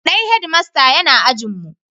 Dan Head master yana ajin mu